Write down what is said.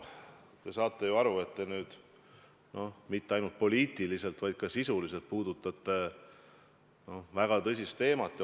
No te saate ju aru, et te nüüd mitte ainult poliitiliselt, vaid ka sisuselt puudutate väga tõsist teemat.